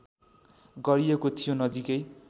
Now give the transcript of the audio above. गरिएको थियो नजिकै